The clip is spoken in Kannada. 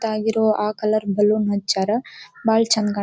ತಾಗಿರೋ ಆ ಕಲರ್ ಬಲೂನ್ ಹಚ್ಯಾರ ಬಾಳ ಚೆಂದ--